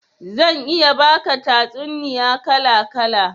Zan iya baka tatsuniya kala kala